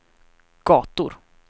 gator